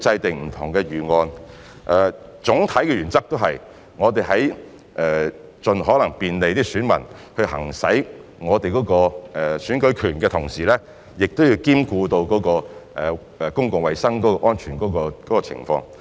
總體的原則是，我們會在盡可能便利選民行使選舉權的同時，亦會兼顧公共衞生安全。